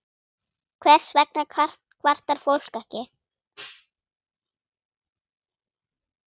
Hvers vegna kvartar fólk ekki?